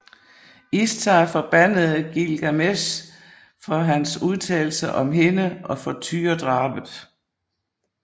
Ishtar forbandede Gilgamesh for hans udtalelser om hende og for tyredrabet